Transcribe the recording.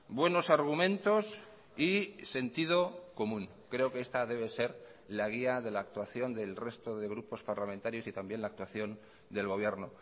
buenos argumentos y sentido común creo que esta debe ser la guía de la actuación del resto de grupos parlamentarios y también la actuación del gobierno